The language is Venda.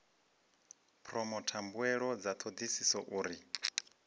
phoromotha mbuelo dza thodisiso uri